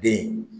Den